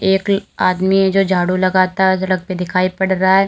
एक ल आदमी है जो झाड़ू लगाता सड़क पे दिखाई पड़ रहा है।